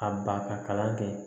A ba ka kalan kɛ